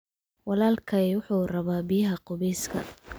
Walaalkay wuxuu rabaa biyaha qubeyska